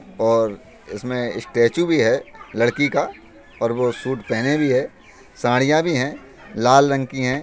और इसमें स्टेच्यु भी है लड़की का और वो सूट पहने भी हैसड़ियाँ भी हैंलाल रंग की है।